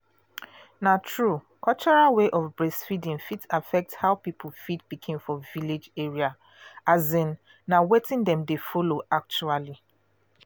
na true cultural way of breastfeeding fit affect how people feed pikin for village area um na wetin dem dey follow actually.